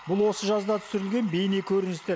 бұл осы жазда түсірілген бейнекөріністер